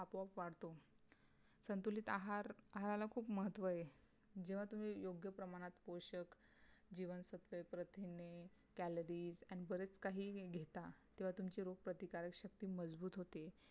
आपोआप वाढतो. संतुलित आहार आहाराला खूप महत्व आहे. जेव्हा तुम्ही योग्य प्रमाणात पोषक जीवनसत्वे प्रथिने CALORIES आणि बरच काही घेता तेव्हातुम्ची रोग प्रतिकारक शक्ती मजबूत होते